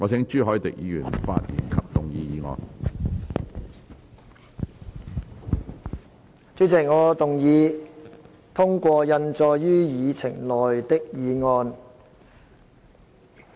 主席，我動議通過印載於議程內的議案。